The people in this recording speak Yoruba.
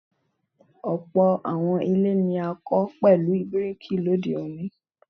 ọ̀pọ̀ àwọn ilé ní a kọ pẹlu bíríkì lòde òní